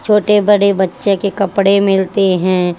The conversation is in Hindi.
छोटे बड़े बच्चे के कपड़े मिलते हैं।